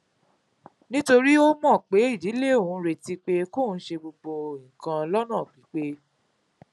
nítorí ó mò pé ìdílé òun ń retí pé kó ṣe gbogbo nǹkan lónà pípé